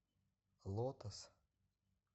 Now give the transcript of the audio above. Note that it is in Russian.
лотос